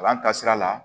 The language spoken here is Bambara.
Kalan ka sira la